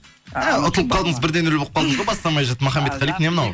ә ұтылып қалдыңыз бір де нөл болып қалдыңыз ғой бастамай жатып махамбетқали не мынау